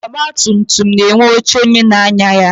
Ọgbatumtum na-enwe oche onye na-anya ya.